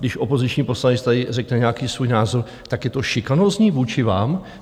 Když opoziční poslanec tady řekne nějaký svůj názor, tak je to šikanózní vůči vám?